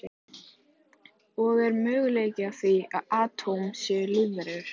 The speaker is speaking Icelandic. Og er möguleiki á því að atóm séu lífverur?